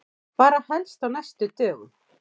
Bara helst á næstu dögum.